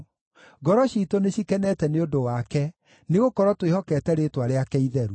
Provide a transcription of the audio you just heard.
Ngoro ciitũ nĩcikenete nĩ ũndũ wake, nĩgũkorwo twĩhokete rĩĩtwa rĩake itheru.